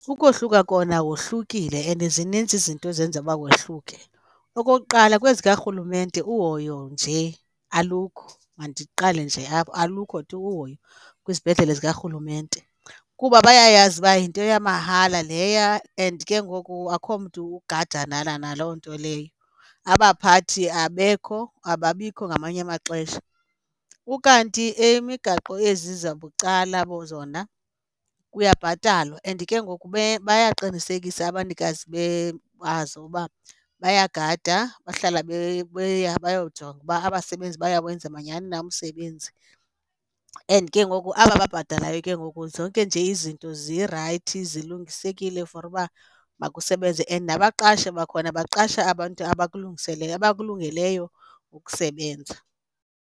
Ukohluka kona wohlukile and zininzi izinto ezenza uba wehluke. Okokuqala, kwezikarhulumente uhoyo nje alukho. Mandiqale nje apho. Alukho tu uhoyo kwizibhedlele zikarhulumente, kuba bayayazi uba yinto yamahala leya and ke ngoku akho mntu ugadanana naloo nto leyo, abaphathi abekho, ababikho ngamanye amaxesha. Ukanti eyemigaqo ezi zabucala zona kuyabhatalwa and ke ngoku bayaqinisekise abanikazi bazo uba bayagada bahlala beya bayajonga uba abasebenzi bayawenza manyani na umsebenzi. And ke ngoku aba babhatalayo ke ngoku zonke nje izinto zirayithi zilungesekile for uba makusebenze and nabaqashi bakhona baqashe abantu abakulungeleyo ukusebenza.